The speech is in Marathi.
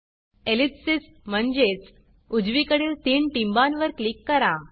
ellipsisएलिप्सिस म्हणजेच उजवीकडील तीन टिंबांवर क्लिक करा